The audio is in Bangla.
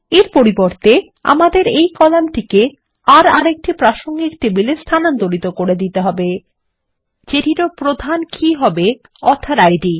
এর পরিবর্তে আমাদের এই কলাম্ টিকে আর একটি প্রাসঙ্গিক টেবিলে স্থানান্তরিত করে দিতে হবে যেটির ও প্রাথমিক কী হবে একই অথর আইডি